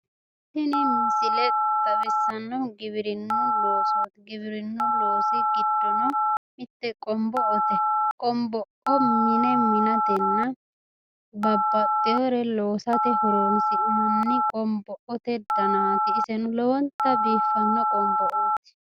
Tini misile xawissannohu giwirinnu losooti. giwirinnu loosi giddono mitte qonbo"ote. qonbo"o mine minatenna babbaxxewore loosate horonsi'nanni qonbo'ote danaati. iseno lowonta biiffanno qonbo'oti.